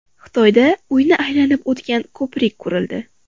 Xitoyda uyni aylanib o‘tgan ko‘prik qurildi.